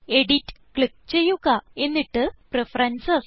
edit click ചെയ്യുക എന്നിട്ട് preferences